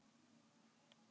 Varla er hann afbrýðisamur?